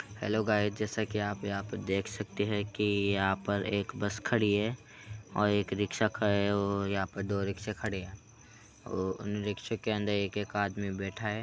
hello guys जैसा की आप यहाँ पे देख सकते हैंकि यहाँ पर एक बस खड़ी है और एक रिक्शा यहाँ पे दो रिक्शे खड़े हैं उन रिक्शे के अंदर एक-एक आदमी बैठा है |